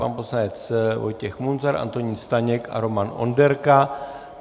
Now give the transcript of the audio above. Pan poslanec Vojtěch Munzar, Antonín Staněk a Roman Onderka.